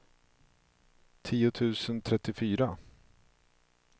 tio tusen trettiofyra